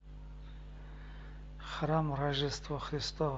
храм рождества христова